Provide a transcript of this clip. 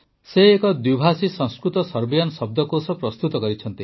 ସେ ଏକ ଦ୍ୱିଭାଷୀ ସଂସ୍କୃତସର୍ବିଆନ ଶବ୍ଦକୋଷ ପ୍ରସ୍ତୁତ କରିଛନ୍ତି